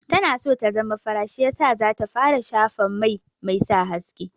Tana so ta zama fara shi yasa za ta fara shafa mai mai sa haske.